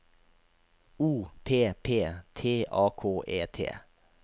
O P P T A K E T